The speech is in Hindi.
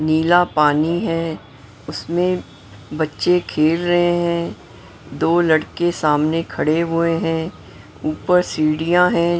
नीला पानी है उसमें बच्चे खेल रहे हैं दो लड़के सामने खड़े हुए हैं ऊपर सीढ़ियां हैं।